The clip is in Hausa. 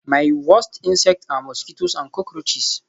My worst insects are mosquitoes and cockroaches